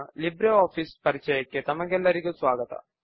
Libre office Base పైన spoken tutorial కు స్వాగతము